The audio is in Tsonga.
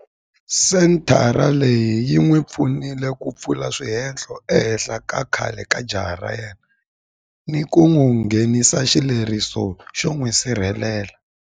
Senthara leyi yi n'wi pfunile ku pfula swihehlo ehenhla ka khale ka jaha ra yena ni ku nghenisa xileriso xo n'wi sirhelela.